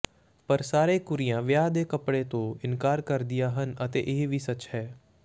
ਪਰ ਸਾਰੇ ਕੁੜੀਆਂ ਵਿਆਹ ਦੇ ਕੱਪੜੇ ਤੋਂ ਇਨਕਾਰ ਕਰਦੀਆਂ ਹਨ ਅਤੇ ਇਹ ਵੀ ਸੱਚ ਹੈ